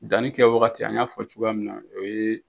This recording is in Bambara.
Danni kɛ wagati , an y'a fɔ cogoya min na o ye